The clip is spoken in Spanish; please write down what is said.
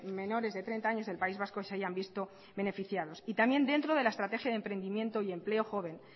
menores de treinta años del país vasco se hayan visto beneficiados y también dentro de la estrategia de emprendimiento y empleo joven